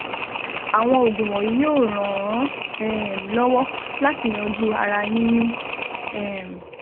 Àwọn oògùn wọ̀nyí yóò ràn án um lọ́wọ́ láti yanjú ara yíyún um